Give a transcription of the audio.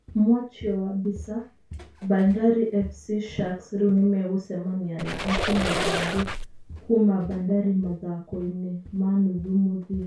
Mwachio wa mbica, Bandari FC Sharks riu nĩmegucemania na akenya angĩ kuma Bandari mathako- inĩ ma nuthu muthia.